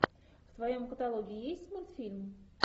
в твоем каталоге есть мультфильм